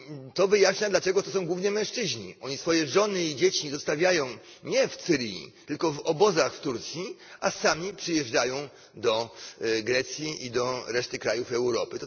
To wyjaśnia, dlaczego to są głównie mężczyźni oni swoje żony i dzieci zostawiają nie w Syrii, tylko w obozach w Turcji, a sami przyjeżdżają do Grecji i do reszty krajów Europy.